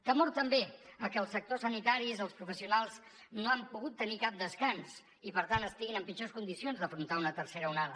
temor també a que el sector sanitari els professionals no han pogut tenir cap descans i per tant estiguin en pitjors condicions d’afrontar una tercera onada